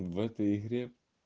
в этой игре